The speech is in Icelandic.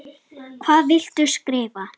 Hvað viltu skrifa?